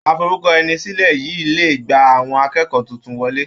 Aforúkọẹnisílẹ̀ yìí le gba àwọn akẹ́kọ̀ọ́ tuntun wọlé.